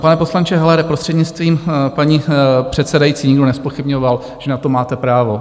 Pane poslanče Hellere, prostřednictvím paní předsedající, nikdo nezpochybňoval, že na to máte právo.